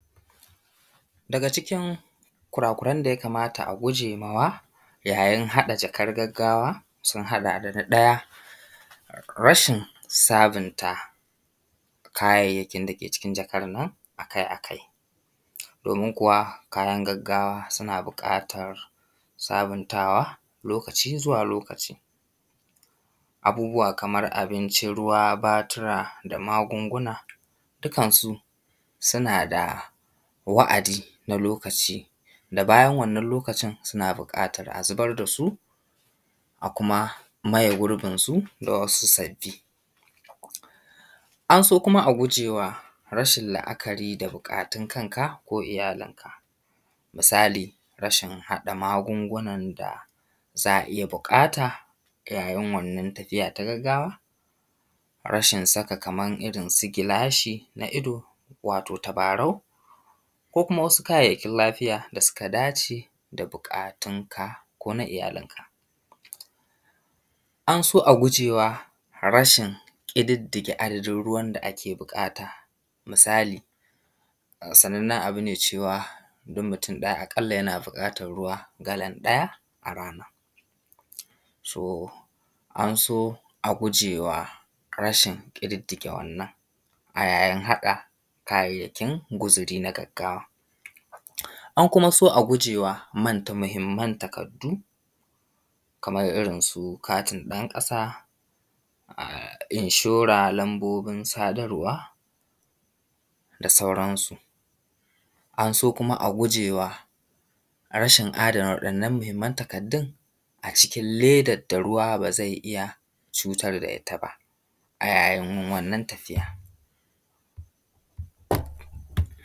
Daga cikin kurakuran da yakamata a guje ma wa yayin haɗa jakar gaggawa, sun haɗa da na ɗaya rashin sabunta kayayyakin da ke cikin jakan nan akai akai domin kuwa kayan gaggawa suna buƙatar sabuntawa lokaci zuwa lokaci. Abubuwa kaman abinci, ruwa, batura da magunguna dukkansu sunada wa’adi na lokaci da bayan wannan lokacin suna buƙatar a zubar dasu, a kuma maye gurbinsu da wasu sabbi. An so kuma a guje wa rashin la'akari da buƙatun kanka ko iyalinka misali rashin haɗa magungunan da za a iya buƙata yayin wannan tafiya ta gaggawa. Rashin saka kaman irinsu gilashi na ido wato tabarau ko kuma wasu kayayyakin lafiya da suka dace da buƙatun ka ko na iyalinka. An so a gujewa rashin ƙididdige adadin ruwan da ake bukata misali sanannan abune cewa duk mutum ɗaya a ƙalla yana buƙatan ruwa galan ɗaya a rana. To an so a gujewa rashin ƙididdige wannan a yayin haɗa kayayyakin guziri na gaggawa. An kuma so a gujewa manta mahimman takaddu kaman irinsu katin ɗan ƙasa, inshora lambobin sadarwa, da sauran su. An kuma so a gujewa rashin adana wa'innan mahimman takardun a cikin ledan da ruwa ba zai iya cutar da ita ba a yayin wannan tafiya.